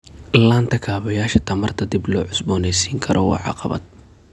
La'aanta kaabayaasha tamarta dib loo cusboonaysiin karo waa caqabad.